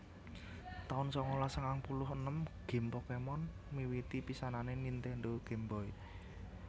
taun sangalas sangang puluh enem Gim Pokémon miwiti pisanané Nintendo Game Boy